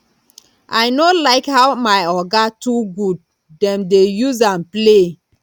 i no like how my oga too good dem dey use am play